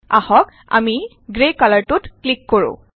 আহক আমি গ্ৰে কালাৰটোত ক্লিক কৰো